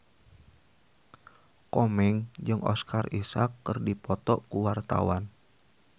Komeng jeung Oscar Isaac keur dipoto ku wartawan